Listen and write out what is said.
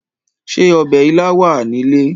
Ṣé ọ̀bẹ ilá wà ní ilé?